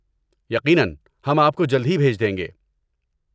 یقیناً، ہم آپ کو جلد ہی بھیج دیں گے۔